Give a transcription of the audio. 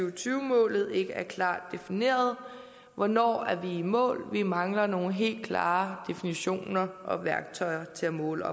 og tyve målet ikke er klart defineret hvornår er vi i mål vi mangler nogle helt klare definitioner og værktøjer til at måle